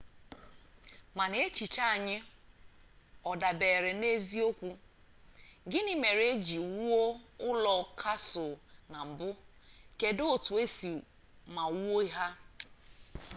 mana echiche anyị ọ dabeere n'eziokwu gini mere eji wuo ụlọ kasụl na mbụ kedụ otu esi see ma wuo ha